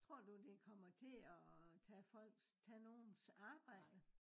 tror du det kommer til at øh tage folks tage nogens arbejde